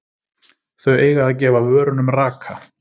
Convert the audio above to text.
Þau eiga að gefa vörunum raka.